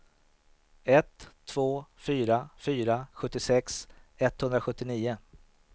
ett två fyra fyra sjuttiosex etthundrasjuttionio